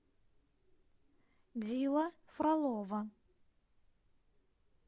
дила фролова